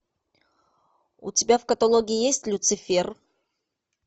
у тебя в каталоге есть люцифер